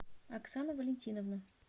оксану валентиновну